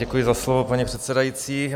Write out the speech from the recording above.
Děkuji za slovo, paní předsedající.